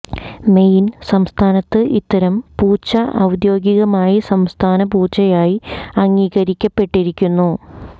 main സംസ്ഥാനത്ത് ഇത്തരം പൂച്ച ഔദ്യോഗികമായി സംസ്ഥാന പൂച്ചയായി അംഗീകരിക്കപ്പെട്ടിരിക്കുന്നു